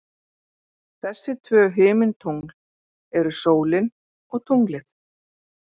Þessi tvö himintungl eru sólin og tunglið.